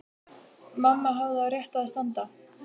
Mamma hafði á réttu að standa.